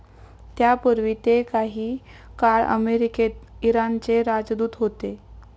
त्यापूर्वी ते काही काळ अमेरिकेत इराणचे राजदूत होते.